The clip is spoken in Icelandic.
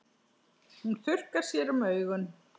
Hún þurrkar sér um augun.